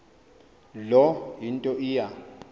loo nto iya